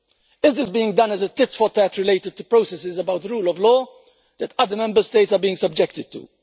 Is this being done as a tit-for-tat related to processes about the rule of law that other Member States are being subjected to?